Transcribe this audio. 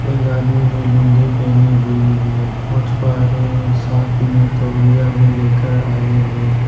एक आदमी ने लूंगी पहनी हुई है मच्छुवरे साथ में तौलिया भी लेकर आए हैं।